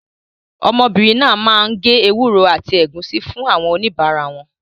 Ọmọbìnrin náà máa ń gé ewúro àti ẹ̀gúsí fún àwọn oníbàárà wọn.